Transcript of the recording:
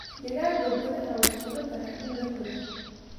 Digaagga gudaha way fududahay in la koriyo.